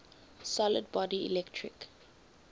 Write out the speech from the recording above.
solid body electric